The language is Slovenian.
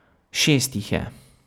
Šest jih je.